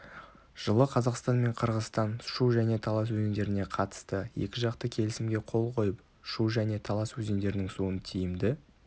жылы қазақстан мен қырғызстан шу және талас өзендеріне қатысты екіжақты келісімге қол қойып шу және талас өзендерінің суын тиімді